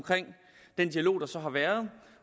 den dialog der så har været